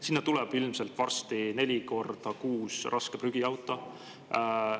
Sinna tuleb varsti ilmselt neli korda kuus raske prügiauto.